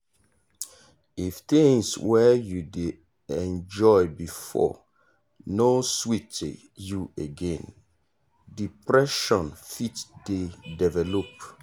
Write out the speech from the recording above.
if things wey you dey enjoy before no sweet you again depression fit dey develop.